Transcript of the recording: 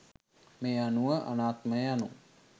මේ අනුව අනාත්මය යනු